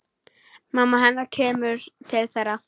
Mamma hennar kemur til þeirra.